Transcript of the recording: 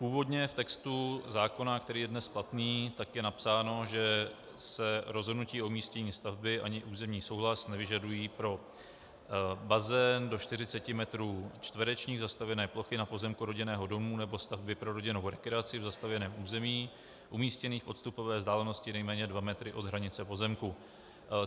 Původně v textu zákona, který je dnes platný, je napsáno, že se rozhodnutí o umístění stavby ani územní souhlas nevyžadují pro bazén do 40 m2 zastavěné plochy na pozemku rodinného domu nebo stavby pro rodinnou rekreaci v zastavěném území umístěný v odstupové vzdálenosti nejméně 2 m od hranice pozemku.